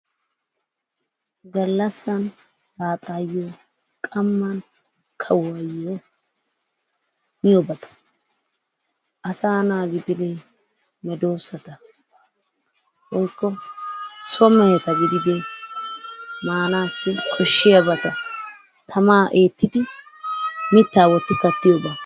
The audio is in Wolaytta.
Galassan laxayo qamani kawuyo miyobattaa asa na gididde medosatta woyko so mehetta gididde manassi koshiyabatta tama ettiddi mittaa Dotti karttiyobaa.